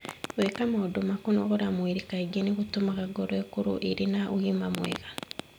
Gwĩka maũndũ ma kũnogora mwĩrĩ kaingĩ nĩ gũtũmaga ngoro ĩkorũo ĩrĩ na ũgima mwega.